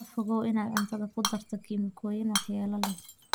Ka fogow inaad cuntada ku darto kiimikooyin waxyeello leh.